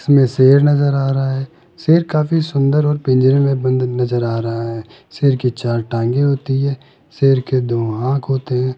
इसमें शेर नजर आ रहा है शेर काफी सुंदर और पिंजरे में बंद नजर आ रहा है शेर की चार टांगे होती है शेर के दो आंख होते हैं।